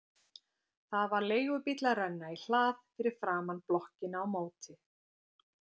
Það var leigubíll að renna í hlað fyrir framan blokkina á móti.